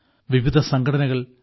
വിവിധ സംഘടനകൾ സി